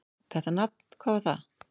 Þetta nafn: hvað var það?